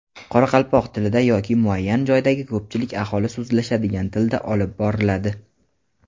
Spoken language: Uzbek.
qoraqalpoq tilida yoki muayyan joydagi ko‘pchilik aholi so‘zlashadigan tilda olib boriladi.